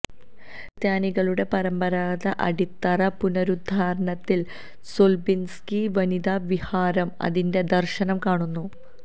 ക്രിസ്ത്യാനികളുടെ പരമ്പരാഗത അടിത്തറ പുനരുദ്ധാരണത്തിൽ സോൽബിൻസ്കി വനിത വിഹാരം അതിന്റെ ദർശനം കാണുന്നു